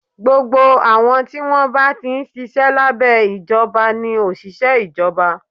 Gbogbo àwọn tí wọ́n bá ti ń ṣiṣẹ́ lábẹ́ ìjọba ni òṣìṣẹ́ Ìjọba